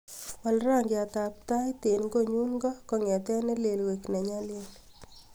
wal rangiat ab tait en konyun koo kong'eten nelel koik neny'alil